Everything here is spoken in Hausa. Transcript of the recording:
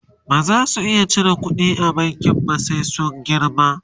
baza su iya cire ƙuɗi a bankin ba sai sun girma